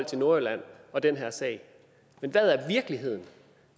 til nordjylland og den her sag men hvad er virkeligheden